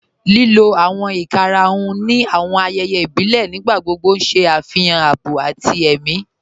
Lílò awọn ìkàràhùn ni awọn ayéyé ìbílẹ̀ nígbàgbogbo n ṣẹ afihàn àábọ̀ àti è̩mi.